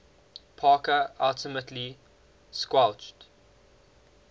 parker ultimately squelched